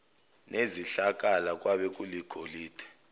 nezihlakala kwabe kuligolide